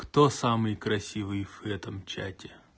кто самый красивый в этом чате